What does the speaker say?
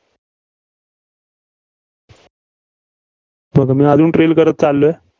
बघा मी अजून trail करत चाललोय.